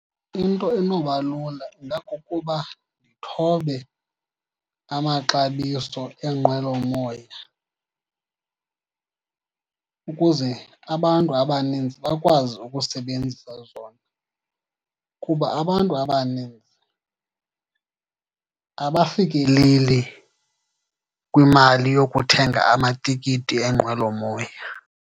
Into enoba lula ingakukuba nithobe amaxabiso eenqwelomoya ukuze abantu abaninzi bakwazi ukusebenzisa zona. Kuba abantu abaninzi abafikeleli kwimali yokuthenga amatikiti eenqwelomoya.